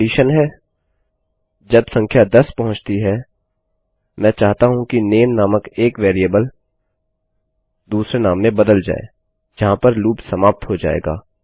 अब कंडीशन है जब संख्या 10 पहुँचती है मैं चाहता हूँ कि नेम नामक एक वेरिएबल दूसरे नाम में बदल जाए जहाँ पर लूप समाप्त हो जाएगा